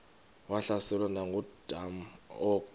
wahlaselwa nanguadam kok